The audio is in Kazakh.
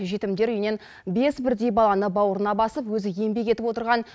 жетімдер үйінен бес бірдей баланы бауырына басып өзі еңбек етіп отырған